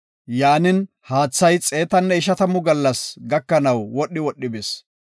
Yaanin, haathay xeetanne ishatamu gallas gakanaw wodhi wodhi bis.